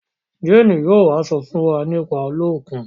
Jane yóò wá so fún wá nípa Oluokun